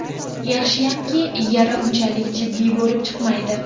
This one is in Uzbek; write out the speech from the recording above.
Yaxshiyamki, yara unchalik jiddiy bo‘lib chiqmaydi.